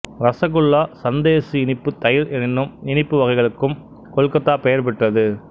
ரசகுல்லா சந்தேசு இனிப்புத் தயிர் என்னும் இனிப்பு வகைகளுக்கும் கொல்கத்தா பெயர் பெற்றது